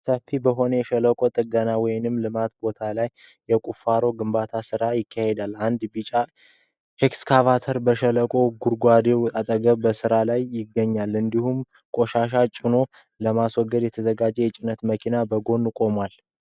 ሰፋፊ በሆነ የሸለቆ ጥገና ወይም ልማት ቦታ ላይ የቁፋሮና የግንባታ ስራ ይካሄዳል። አንድ ቢጫ ኤክስካቫተር በሸለቆው ግርጌ አጠገብ በስራ ላይ ይገኛል፣ እንዲሁም ቆሻሻ ጭኖ ለመውሰድ የተዘጋጀ የጭነት መኪና ከጎኑ ይቆማል።